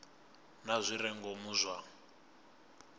na zwi re ngomu zwa